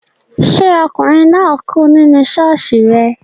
Ṣé ọkùnrin náà kú nínú ṣọ́ọ̀ṣì rẹ